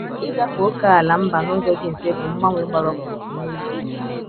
Ịgafe ókèala mba n’ụzọ dị mfe bụ mgbanwe gbara ọkpụrụkpụ n’ezie.